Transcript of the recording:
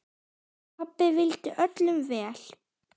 Pabbi vildi öllum vel.